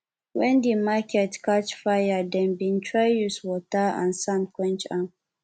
wen di market catch fire dem bin try use water and sand quench am